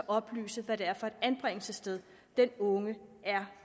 oplyse hvad det er for et anbringelsessted den unge er